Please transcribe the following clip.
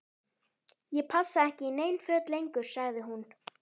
Ég passa ekki í nein föt lengur sagði hún.